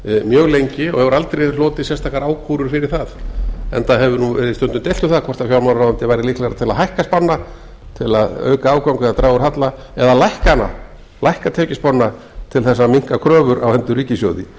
mjög lengi og hefur aldrei hlotið sérstakar ákúrur fyrir það enda hefur verið stundum deilt um það hvort fjármálaráðuneytið væri líklegra til að hækka spána til að auka afgang eða draga úr halla eða að lækka tekjuspána til þess að minnka kröfur á hendur ríkissjóði